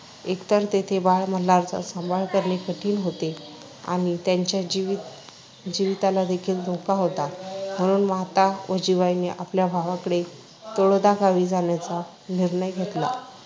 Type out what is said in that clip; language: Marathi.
एकतर तेथे बाळ मल्हारचा सांभाळ करणे कठीण होते आणि त्याच्या जीवितालादेखील धोका होता. म्हणून माता जिवाईने आपल्या भावाकडे तळोदा गावी जाण्याचा निर्णय घेतला